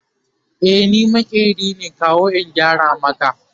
e ni maƙeri ne kawo in gyara maki